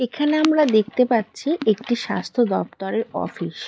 এখানে আমরা দেখতে পাচ্ছি একটি স্বাস্থ্য দপ্তরের অফিস ।